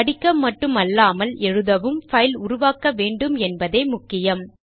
படிக்க மட்டும் அல்லாமல் எழுதவும் பைல் உருவாக்க வேண்டும் என்பதே முக்கியம்